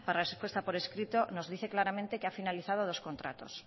respuesta por escrito nos dice claramente que han finalizado dos contratos